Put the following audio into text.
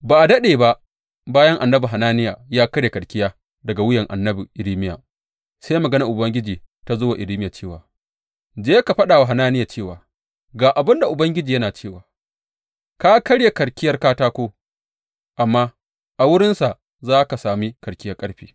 Ba a daɗe ba bayan annabi Hananiya ya karya karkiya daga wuyan annabi Irmiya, sai maganar Ubangiji ta zo wa Irmiya cewa, Je ka faɗa wa Hananiya cewa, Ga abin da Ubangiji yana cewa, ka karya karkiyar katako, amma a wurinsa za ka sami karkiyar ƙarfe.